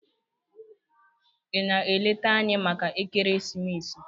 Ị na-eleta anyị maka ekeresimesi?